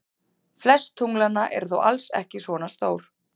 Flest tunglanna eru þó alls ekki svona stór.